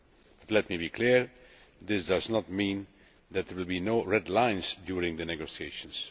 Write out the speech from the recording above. But let me be clear this does not mean that there will be no red lines during negotiations.